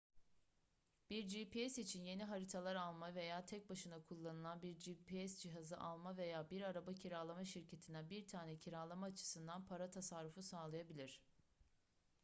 bir gps için yeni haritalar alma veya tek başına kullanılan bir gps cihazı alma veya bir araba kiralama şirketinden bir tane kiralama açısından para tasarrufu sağlayabilir